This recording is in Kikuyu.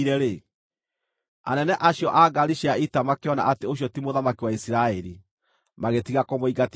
anene acio a ngaari cia ita makĩona atĩ ũcio ti mũthamaki wa Isiraeli, magĩtiga kũmũingatithia.